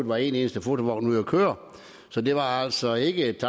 var en eneste fotovogn ude at køre så det var altså ikke et